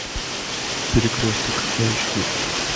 перекресток эйч ди